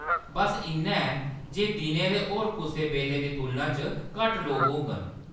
बस्स इन्ना ऐ जे दिनै दे होर कुसै बेल्ले दी तुलना च घट्ट लोक होङन।